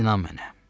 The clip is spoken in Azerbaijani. İnan mənə.